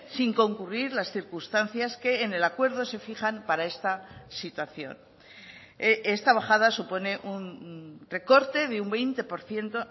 sin concurrir las circunstancias que en el acuerdo se fijan para esta situación esta bajada supone un recorte de un veinte por ciento